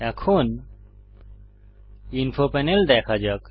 এখন info panel দেখা যাক